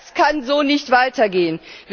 Das kann so nicht weitergehen.